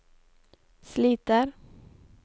sliter